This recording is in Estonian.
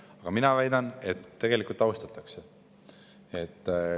Aga mina väidan, et tegelikult austatakse.